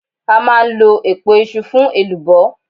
A máa ń lọ̀ èpo iṣu fún elubo.